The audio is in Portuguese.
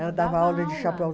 Ela dava aula de chapéu.